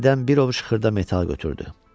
Yerdən bir ovuc xırda metal götürdü.